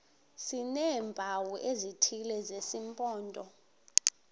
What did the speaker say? sineempawu ezithile zesimpondo